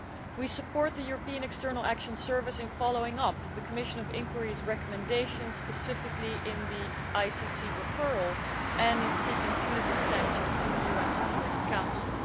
We support the European External Action Service in following up the Commission of Inquiry's recommendations, specifically in the ICC referral and in seeking punitive sanctions in the UN Security Council.